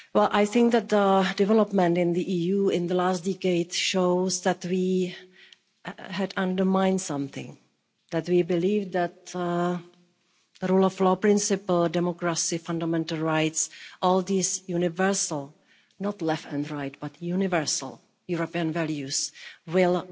I think that developments in the EU in the last decades show that we had undermined something, that we believe that the rule of law principle, democracy, fundamental rights, all these universal not left and right but universal European values will